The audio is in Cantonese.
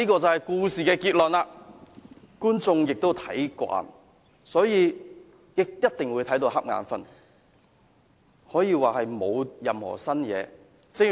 這就是故事的結論，觀眾也看慣，所以一定會打瞌睡，可以說沒有任何新意。